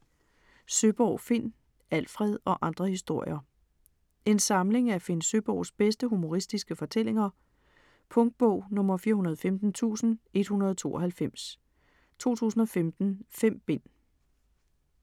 Søeborg, Finn: Alfred - og andre historier En samling af Finn Søeborgs bedste humoristiske fortællinger. Punktbog 415192 2015. 5 bind.